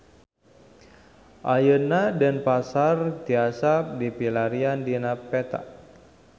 Ayeuna Denpasar tiasa dipilarian dina peta